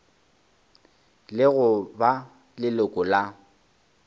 le go ba leloko la